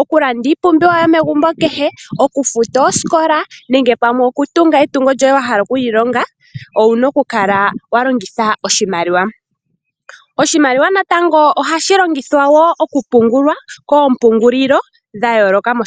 okulanda iipumbiwa yomegumbo kehe, okufuta oosikola, nenge pamwe okutunga etungo lyoye wahala okulilonga, owuna okukala walongitha oshimaliwa. Oshimaliwa natango ohashi longithwa wo okupungulwa koompungulilo dha yooloka moshilongo.